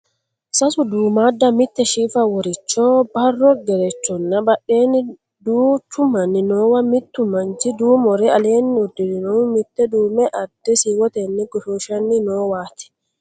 Sase duummaadda, mitte shifa woricho, barro gerechonna badheenni duuchu manni noowa mittu manchi duumore aleenni uddirinnohu mitte duume adde siiwotenni goshooshanni noowaati.